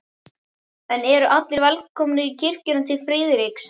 En eru allir velkomnir í kirkjuna til Friðriks?